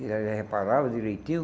E aí Ele reparava direitinho.